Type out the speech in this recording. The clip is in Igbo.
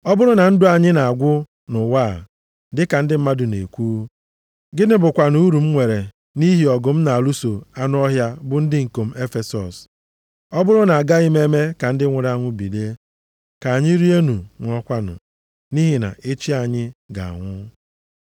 Ọ bụrụ na ndụ anyị na-agwụ nʼụwa a, dịka ndị mmadụ na-ekwu, gịnị bụkwanụ uru m nwere nʼihi ọgụ m na-alụso anụ ọhịa, bụ ndị ikom Efesọs? Ọ bụrụ na a gaghị eme ka ndị nwụrụ anwụ bilie, “Ka anyị rienụ, ṅụọkwanụ, nʼihi na echi anyị ga-anwụ.” + 15:32 \+xt Aịz 22:13\+xt*